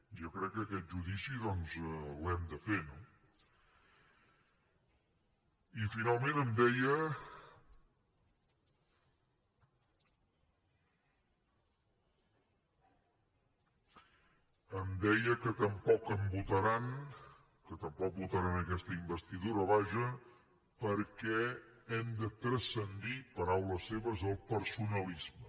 jo crec que aquest judici doncs l’hem de fer no i finalment em deia que tampoc em votaran que tampoc votaran aquesta investidura vaja perquè hem de transcendir paraules seves el personalisme